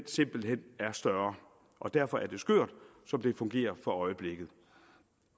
simpelt hen er større og derfor er det skørt som det fungerer for øjeblikket og